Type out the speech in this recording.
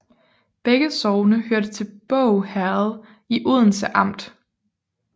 Begge sogne hørte til Båg Herred i Odense Amt